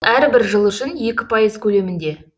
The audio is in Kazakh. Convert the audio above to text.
ол әрбір жыл үшін екі пайыз көлемінде